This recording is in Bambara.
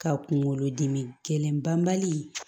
Ka kunkolo dimi gɛlɛn banbali